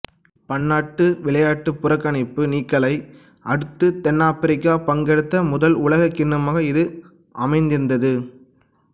பன்னாட்டு விளையாட்டுப் புறக்கணிப்பு நீக்கலை அடுத்து தென்னாபிரிக்கா பங்கெடுத்த முதல் உலகக்கிண்ணமாக இது அமைந்திருந்தது